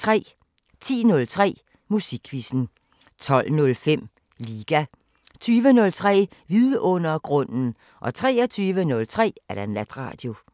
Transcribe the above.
10:03: Musikquizzen 12:05: Liga 20:03: Vidundergrunden 23:03: Natradio